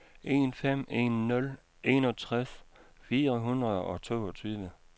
en fem en nul enogtres fire hundrede og toogtyve